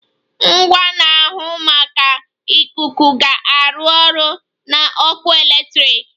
Ngwa na-ahụ maka ikuku ga-arụ ọrụ na ọkụ eletrik.